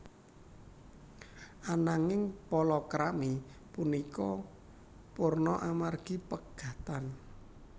Ananging palakrami punika purna amargi pegatan